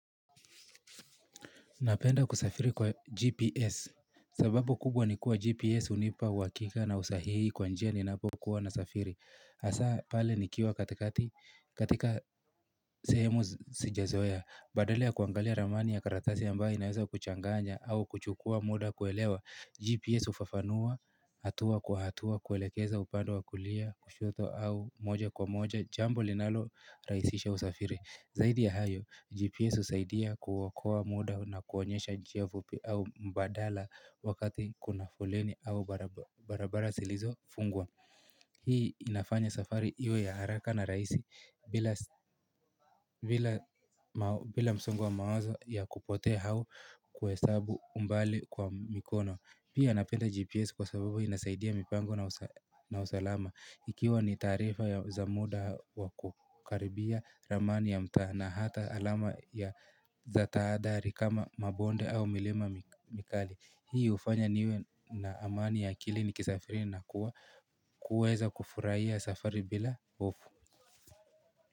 Napenda kusafiri kwa GPS. Sababu kubwa ni kuwa GPS hunipa uhakika na usahihi kwa njia ninapokuwa nasafiri. Hasa pale nikiwa katika sehemu sijazoea. Badala ya kuangalia ramani ya karatasi ambayo inaweza kuchanganya au kuchukua muda kuelewa. GPS hufafanua, hatua kwa hatua, kuelekeza upande wa kulia, kushoto au moja kwa moja, jambo linalo rahisisha usafiri. Zaidi ya hayo, GPS husaidia kuokoa muda na kuonyesha njia fupi au mbadala wakati kuna foleni au barabara zilizo fungwa. Hii inafanya safari iwe ya haraka na rahisi bila msongo wa mawazo ya kupotea au kuhesabu umbali kwa mikono. Pia napenda GPS kwa sababu inasaidia mipango na na usalama Ikiwa ni taarifa za muda wa kukaribia ramani ya mtaa na hata alama ya za tahadhari kama mabonde au milima mikali Hii hufanya niwe na amani ya akili nikisafiri na kuweza kufurahia safari bila hofu.